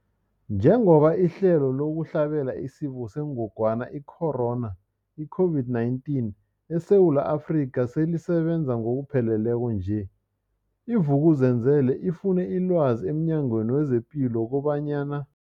Njengoba ihlelo lokuhlabela isiFo sengogwana i-Corona, i-COVID-19, eSewula Afrika selisebenza ngokupheleleko nje, i-Vuk'uzenzele ifune ilwazi emNyangweni wezePilo kobanyana.